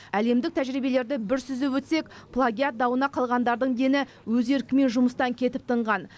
әлемдік тәжірибелерді бір сүзіп өтсек плагиат дауына қалғандардың дені өз еркімен жұмыстан кетіп тынған